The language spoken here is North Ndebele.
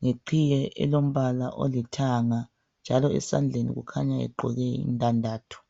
ngeqhiye elongombala olithanga njalo esandlen ukhanya egqoke indandatho